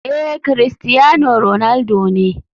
Ee, cristiano ronaldo ne.